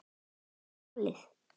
Vel valið.